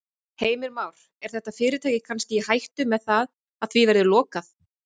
Heimir Már: Er þetta fyrirtæki kannski í hættu með það að því verði lokað?